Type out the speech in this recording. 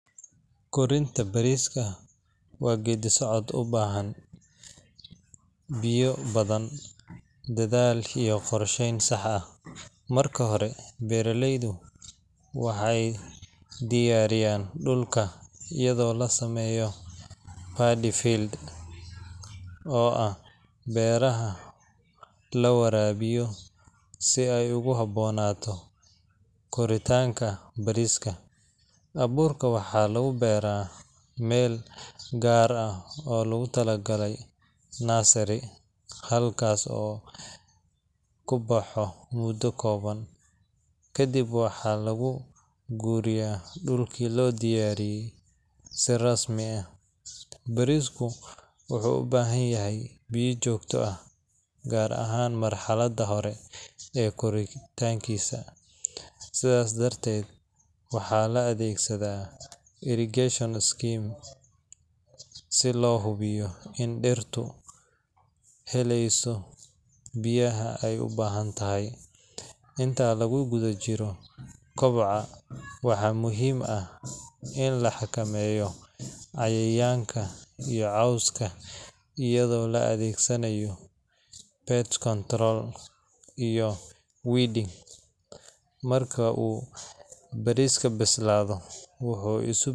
Korinta bariiska waa geeddi-socod u baahan biyo badan, dadaal iyo qorsheyn sax ah. Marka hore, beeraleydu waxay diyaariyaan dhulka iyadoo la sameeyo paddy fields oo ah beeraha la waraabiyo si ay ugu habboonaato koritaanka bariiska. Abuurka waxaa lagu beeraa meel gaar ah oo loogu talagalay nursery, halkaas oo uu ku baxo muddo kooban, ka dibna waxaa lagu guuriyaa dhulkii loo diyaariyay si rasmi ah. Bariisku wuxuu u baahan yahay biyo joogto ah, gaar ahaan marxaladda hore ee koritaankiisa, sidaas darteed waxaa la adeegsadaa irrigation systems si loo hubiyo in dhirtu helayso biyaha ay u baahan tahay. Inta lagu guda jiro koboca, waxaa muhiim ah in la xakameeyo cayayaanka iyo cawska iyadoo la adeegsanayo pest control iyo weeding. Marka uu bariisku bislaado, wuxuu isu.